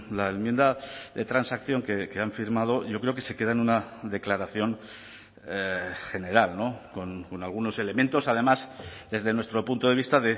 la enmienda de transacción que han firmado yo creo que se queda en una declaración general con algunos elementos además desde nuestro punto de vista